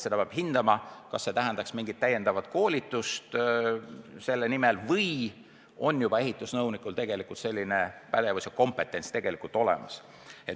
Seda peab hindama, kas on vaja mingit täiendavat koolitust selleks või on ehitusnõunikul selline pädevus ja kompetents juba olemas.